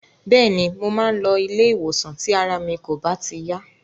Bẹ́ẹ̀ni, mo máa ń lọ ilé-ìwòsàn tí ara mi kò bá ti yá.